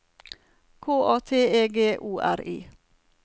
K A T E G O R I